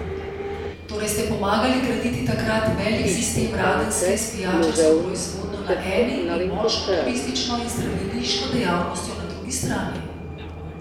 Torej ste pomagali graditi takrat velik sistem Radenske s pijačarsko proizvodnjo na eni in močno turistično in zdraviliško dejavnostjo na drugi strani?